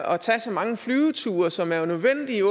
at tage så mange flyveture som jo